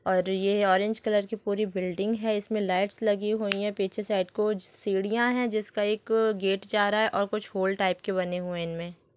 और ये orange colour की पूरी बिल्डिंग इसमें लाइट्स लगी हुई हैं पीछे साइड कुछ सीढ़ियां हैं जिसका एक गेट जा रहा है और कुछ हॉल टाइप के बने हुए हैं इनमें--